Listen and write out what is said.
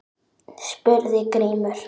spurði Grímur.